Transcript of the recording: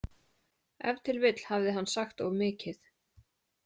Ef til vill hafði hann sagt of mikið.